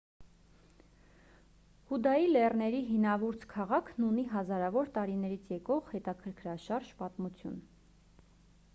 հուդայի լեռների հինավուրց քաղաքն ունի հազարավոր տարիներից եկող հետաքրքրաշարժ պատմություն